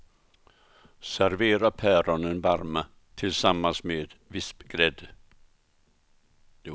Servera päronen varma tillsammans med vispgrädde.